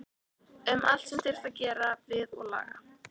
Um allt sem þyrfti að gera við og laga.